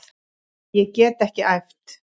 Ég get ekki æft.